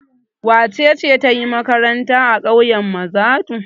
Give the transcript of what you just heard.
Wace ce ta yi makaranta a ƙauyen Mazadu?